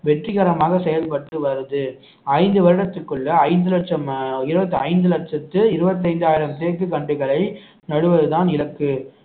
வெற்றிகரமாக செயல்பட்டு வருது ஐந்து வருடத்துக்குள்ள ஐந்து லட்சம் அஹ் இருபத்தி ஐந்து லட்சத்து இருபத்தி ஐந்தாயிரம் தேக்கு கன்றுகளை நடுவதுதான் இலக்கு